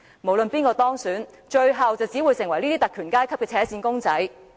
不論是誰當選，最後只會成為特權階級的扯線公仔。